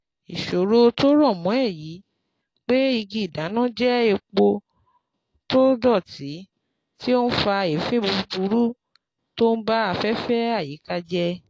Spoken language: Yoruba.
Ìsòro tó rọ̀ mọ́ èyí pé igi ìdáná jẹ́ epo tó dọ̀tí tí ó ń fa èéfín búburú tó ń ba afẹ́fẹ́ àyíká jẹ.